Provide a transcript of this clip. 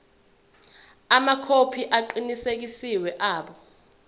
amakhophi aqinisekisiwe abo